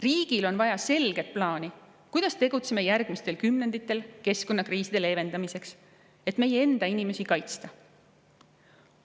Riigil on vaja selget plaani, kuidas tegutseda järgmistel kümnenditel, et keskkonnakriise leevendada, selleks et meie enda inimesi kaitsta.